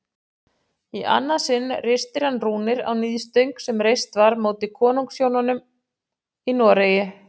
Í annað sinn ristir hann rúnir á níðstöng sem reist var móti konungshjónum í Noregi.